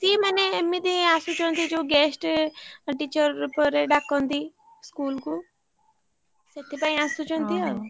ସିଏ ମାନେ ଏମତି ଆସୁଛନ୍ତି ଯୋଉ guest teacher ରୂପରେ ଡାକନ୍ତି। school କୁ ସେଥିପାଇଁ ଆସୁଛନ୍ତି ଆଉ।